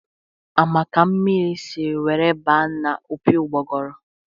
A ma ka mmiri si were baa n'opi ugboguru?